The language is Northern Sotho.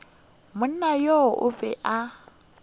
monna yoo o be a